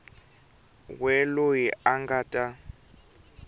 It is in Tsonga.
we loyi a nga ta